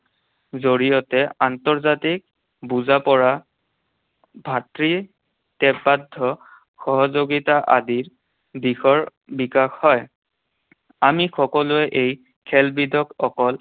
জৰিয়তে আন্তৰ্জাতিক বুজা পৰা, ভাতৃ সহযোগিতা আদিৰ দিশৰ বিকাশ হয়। আমি সকলোৱে এই খেলবিধক অকল